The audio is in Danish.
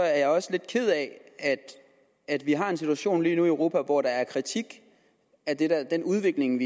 er jeg også lidt ked af at vi har en situation i europa hvor der er kritik af den af den udvikling